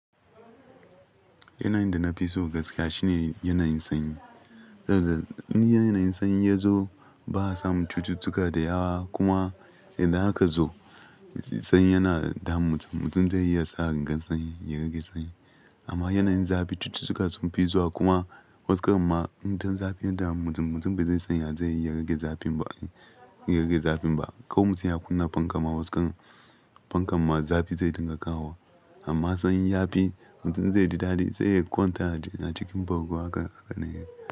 Yanayin da na fi so gaskiya shine yanayin sanyi. Saboda in yanayin sanyi ya zo, ba a samu cututtuka da yawa. Kuma idan aka zo sanyi yana damun mutum, mutum zai iya sa rigar sanyi, ya rage sanyi. Amma yanayin zafi cututtuka sun fi zuwa kuma waskar ma, idan zafi ya dami mutum, mutum bai zai san ya zai iya rage zafin ba, ya rage zafin ba. Kau mutum ya kunna fankama, waskar fankama zafi zai dinga kawo. Amma sanyi yafi mutum zai ji dadi, zai ya kwanta a cikin bargo haka, haka ne.